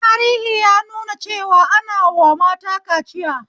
Tahiri ya nuna cewa ana wa mata kaciya